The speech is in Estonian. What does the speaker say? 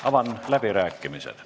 Avan läbirääkimised.